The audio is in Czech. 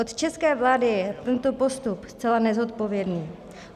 Od české vlády je tento postup zcela nezodpovědný.